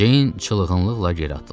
Ceyn çılğınlıqla geri atıldı.